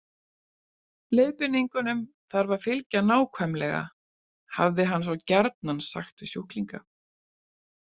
Leiðbeiningunum þarf að fylgja nákvæmlega, hafði hann svo gjarnan sagt við sjúklinga.